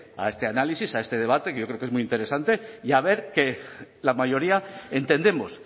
a este análisis a este debate que yo creo que es muy interesante y a ver que la mayoría entendemos